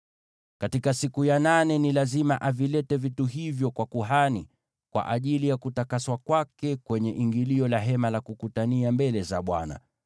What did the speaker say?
“Katika siku ya nane, lazima avilete vitu hivyo kwa kuhani, kwa ajili ya kutakaswa kwake kwenye ingilio la Hema la Kukutania mbele za Bwana .